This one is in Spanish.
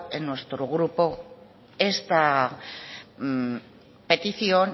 en nuestro grupo esta petición